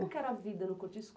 que era a vida no cortiço?